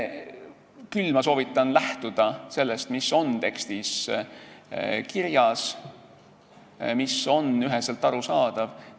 Küll ma soovitan lähtuda sellest, mis on tekstis kirjas, mis on üheselt arusaadav.